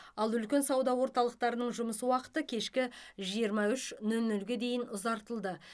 ал үлкен сауда орталықтарының жұмыс уақыты кешкі жиырма үш нөл нөлге дейін ұзартылды